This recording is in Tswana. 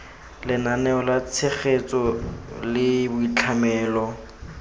lenaneo la tshegetso la boitlhamelo